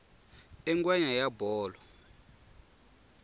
i ngwenya ya bolo